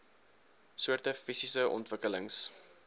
soorte fisiese ontwikkelings